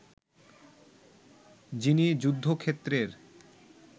যিনি যুদ্ধক্ষেত্রের